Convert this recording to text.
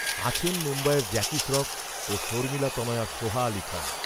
আছেন মুম্বইয়ের জ্যাকি শ্রফ, ও শর্মিলা তনয়া সোহা আলি খান